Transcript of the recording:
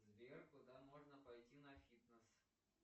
сбер куда можно пойти на фитнес